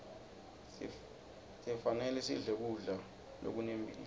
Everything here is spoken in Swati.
sifanelesidle kudla zokunemphilo